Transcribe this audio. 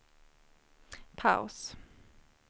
paus